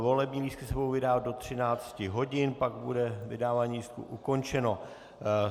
Volební lístky se budou vydávat do 13 hodin, pak bude vydávání lístků ukončeno.